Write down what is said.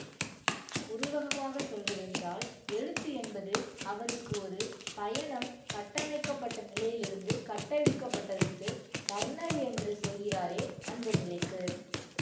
உருவகமாகச் சொல்வதென்றால் எழுத்து என்பது அவருக்கு ஒரு பயணம் கட்டமைக்கப்பட்ட நிலையிலிருந்து கட்டவிழ்க்கப்பட்டதுக்கு டர்னர் என்று சொல்கிறாரே அந்த நிலைக்கு